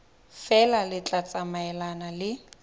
feela le tla tsamaelana le